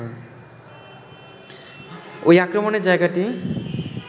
ঐ আক্রমণের জায়গাটি